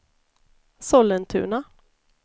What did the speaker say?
Sollentuna